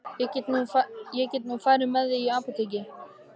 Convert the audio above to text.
Ég get nú farið fyrir þig í apótekið.